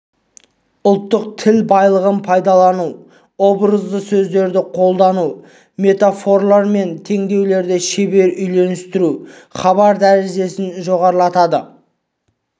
ұлттық тіл байлығын пайдалану образды сөздерді қолдану метафоралар мен теңеулерді шебер үйлестіру хабар дәрежесін жоғарылатады